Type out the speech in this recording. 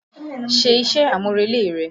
Ṣe iṣẹ́-àmúrelé rẹ!